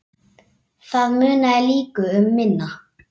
Það munaði líka um minna.